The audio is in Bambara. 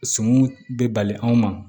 Suman bɛ bali anw ma